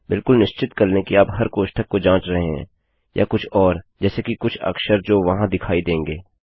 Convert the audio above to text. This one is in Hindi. बिलकुल निश्चित कर लें कि आप हर कोष्ठक को जाँच रहे हैं या कुछ और जैसे कि कुछ अक्षर जो वहाँ दिखाई देंगे